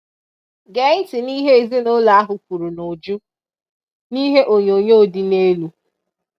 Gee ntị n'ihe ezinụụlọ ahụ kwuru n'uju n'ihe onyonyo dị n'elu